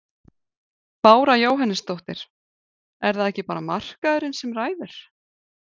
Bára Jóhannesdóttir: Er það ekki bara markaðurinn sem ræður?